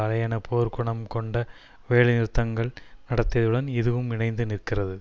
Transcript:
அலையென போர்க்குணம் கொண்ட வேலைநிறுத்தங்கள் நடத்தியதுடன் இதுவும் இணைந்து நிற்கிறது